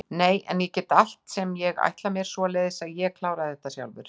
Nei en ég get allt sem ég ætla mér, svoleiðis að ég kláraði það sjálfur.